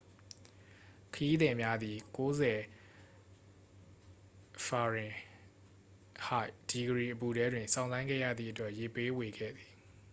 ခရီးသည်များသည် ၉၀f-ဒီဂရီအပူထဲတွင် စောင့်ဆိုင်းခဲ့ရသည့်အတွက် ရေပေးဝေခဲ့သည်။